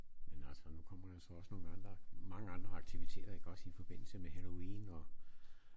Men altså nu kommer der så også nogle andre mange andre aktiviteter ik også i forbindelse med halloween og